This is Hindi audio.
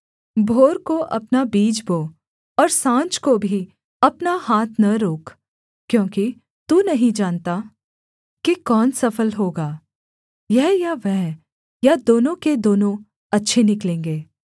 भोर को अपना बीज बो और साँझ को भी अपना हाथ न रोक क्योंकि तू नहीं जानता कि कौन सफल होगा यह या वह या दोनों के दोनों अच्छे निकलेंगे